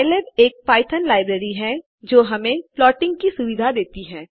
pylab एक Python library है जो हमें प्लोटिंग की सुविधा देती है